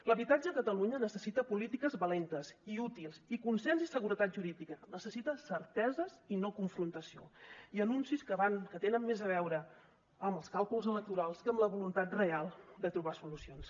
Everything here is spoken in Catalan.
l’habitatge a catalunya necessita polítiques valentes i útils i consens i seguretat jurídica necessita certeses i no confrontació i anuncis que tenen més a veure amb els càlculs electorals que amb la voluntat real de trobar solucions